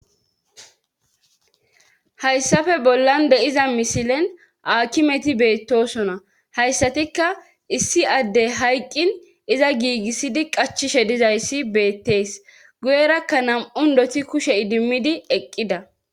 hayssafe bollan de7iza misilen akimeti beettosona hayssatikka issi adde hayqqin iza giigissidi qachishe dizayssi beettees guyerakka nam7un doti kushe idimmidi eqqida